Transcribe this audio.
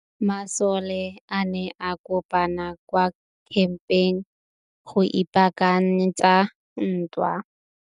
Masole a ne a kopane kwa kampeng go ipaakanyetsa ntwa.